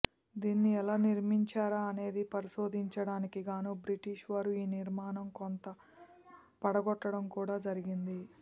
దీనిని ఎలా నిర్మించారా అనేది పరిశోధించ టానికి గాను బ్రిటిష్ వారు ఈ నిర్మాణం కొంత పడగొట్టటం కూడా జరిగింది